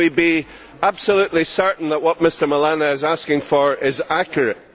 Can we be absolutely certain that what Mr Milana is asking for is accurate?